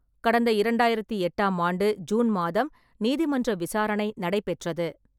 கடந்த இரண்டாயிரத்து எட்டாம் ஆண்டு ஜூன் மாதம் நீதிமன்ற விசாரணை நடைபெற்றது.